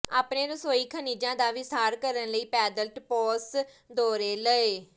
ਆਪਣੇ ਰਸੋਈ ਖਣਿਜਾਂ ਦਾ ਵਿਸਥਾਰ ਕਰਨ ਲਈ ਪੈਦਲ ਟਪਾਸ ਦੌਰੇ ਲਓ